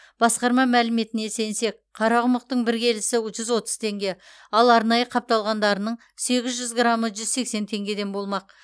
басқарма мәліметіне сенсек қарақұмықтың бір келісі жүз отыз теңге ал арнайы қапталғандарының сегіз жүз грамы жүз сексен теңгеден болмақ